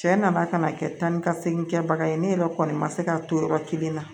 Cɛ nana kana kɛ tanikasegin kɛbaga ye ne yɛrɛ kɔni ma se k'a to yɔrɔ kelen na